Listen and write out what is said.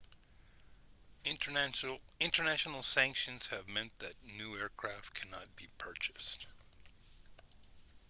international sanctions have meant that new aircraft cannot be purchased